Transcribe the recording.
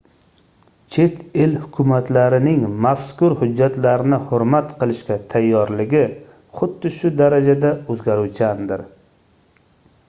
chet el hukumatlarining mazkur hujjatlarni hurmat qilishga tayyorligi xuddi shu darajada oʻzgaruvchandir